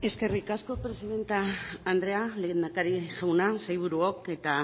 eskerrik asko presidente anderea lehendakaria jauna sailburuok eta